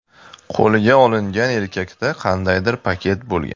Qo‘lga olingan erkakda qandaydir paket bo‘lgan.